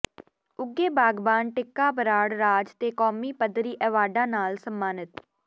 ਉੱਘੇ ਬਾਗ਼ਬਾਨ ਟਿੱਕਾ ਬਰਾੜ ਰਾਜ ਤੇ ਕੌਮੀ ਪੱਧਰੀ ਐਵਾਰਡਾਂ ਨਾਲ ਸਨਮਾਨਿਤ